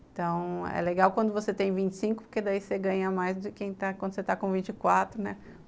Então, é legal quando você tem vinte e cinco, porque daí você ganha mais do que quando você está com vinte e quatro, né?